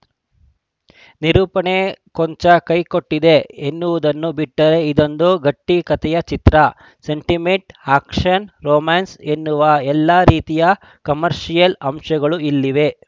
ನಿರೂಪಣೆ ಕೊಂಚ ಕೈ ಕೊಟ್ಟಿದೆ ಎನ್ನುವುದನ್ನು ಬಿಟ್ಟರೆ ಇದೊಂದು ಗಟ್ಟಿಕತೆಯ ಚಿತ್ರ ಸೆಂಟಿಮೆಂಟ್‌ ಆ್ಯಕ್ಷನ್‌ ರೊಮ್ಯಾನ್ಸ್‌ ಎನ್ನುವ ಎಲ್ಲಾ ರೀತಿಯ ಕಮರ್ಷಿಯಲ್‌ ಅಂಶಗಳು ಇಲ್ಲಿವೆ